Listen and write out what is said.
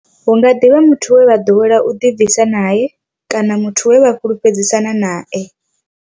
Hu nga ḓi vha muthu we vha ḓowela u ḓibvisa nae kana we vha fhulufhedzisana nae.